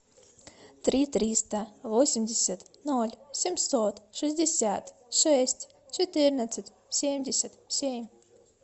три триста восемьдесят ноль семьсот шестьдесят шесть четырнадцать семьдесят семь